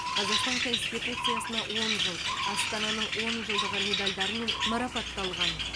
қазақстан конституциясына он жыл астананың он жылдығы медальдарымен марапатталған